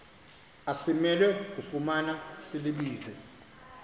asimelwe kufumana silibize